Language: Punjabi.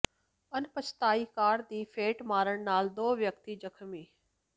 ਅਣਪਛਾਤੀ ਕਾਰ ਦੀ ਫੇਟ ਮਾਰਨ ਨਾਲ ਦੋ ਵਿਅਕਤੀ ਜ਼ਖ਼ਮੀ